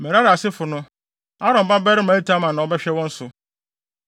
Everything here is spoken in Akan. Merari asefo no, Aaron babarima Itamar na ɔbɛhwɛ wɔn so.”